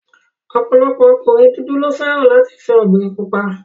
Ọ̀pọ̀lọpọ̀ ọkùnrin dúdú ló fẹ́ràn láti fẹ́ obìnrin pupa